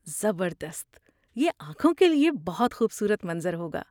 زبردست! یہ آنکھوں کے لیے بہت خوبصورت منظر ہوگا۔